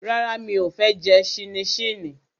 Rárá, mi ò fẹ́ jẹ ṣíníṣíní